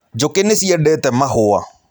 Njũkĩ nĩ ciendete mahũa.